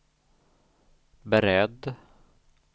beredd